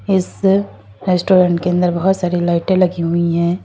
इस रेस्टोरेंट के अंदर बहुत सारी लाइटें लगी हुई है।